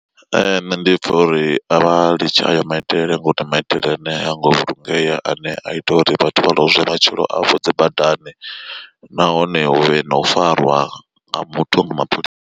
Nṋe ndi pfha uri a vha litshe ayo maitele ngauri maitele ane ha ngo vhulungea ane a ita uri vhathu vha lozwe matshilo a vho dzi badani, nahone hu vhe na u farwa nga muthu nga mapholisa.